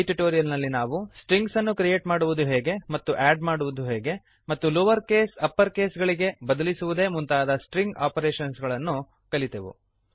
ಈ ಟ್ಯುಟೋರಿಯಲ್ ನಲ್ಲಿ ನಾವು ಸ್ಟ್ರಿಂಗನ್ನು ಕ್ರಿಯೇಟ್ ಮಾಡುವುದು ಹೇಗೆ ಮತ್ತು ಆಡ್ ಮಾಡುವುದು ಹೇಗೆ ಮತ್ತು ಲೋವರ್ ಕೇಸ್ ಅಪ್ಪರ್ ಕೇಸ್ ಗಳಿಗೆ ಬದಲಿಸುವುದೇ ಮುಂತಾದ ಸ್ಟ್ರಿಂಗ್ ಆಪರೇಷನ್ಸ್ ಗಳನ್ನು ಕಲಿತೆವು